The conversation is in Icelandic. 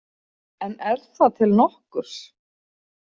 En er það til nokkurs?